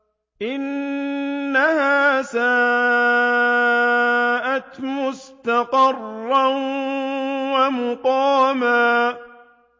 إِنَّهَا سَاءَتْ مُسْتَقَرًّا وَمُقَامًا